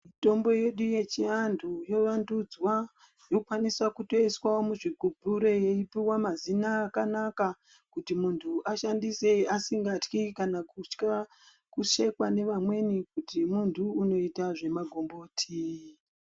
Mitombo yedu yechiantu yovandudzwa. Yokwaniswa kutoiswa muzvigumbure yeipuwa mazina akanaka kuti muntu ashandise asingatyi kanakutya kushekwa nevamweni kuti muntu unoita zvemagomboti.